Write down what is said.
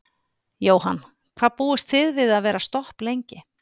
Jóhann: Hvað búist þið við að vera stopp lengi?